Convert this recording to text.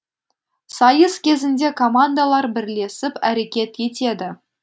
сайыс кезінде командалар бірлесіп әрекет етеді